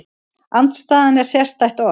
Andstæðan er sérstætt orð.